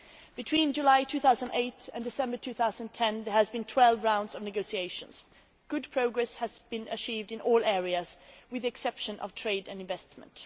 Between July 2008 and December 2010 there have been twelve rounds of negotiations good progress has been achieved in all areas with the exception of trade and investment.